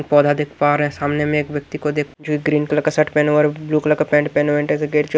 पौधा देख पा रहे हैं सामने में एक व्यक्ति को देख जो एक ग्रीन कलर का शर्ट पहने और ए ब्लू कलर का पेण्ट पहने हुए एण्टा स गेट जो--